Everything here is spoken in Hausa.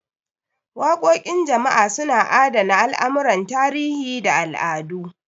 Waƙoƙin jama'a suna adana al'amuran tarihi da al'adu.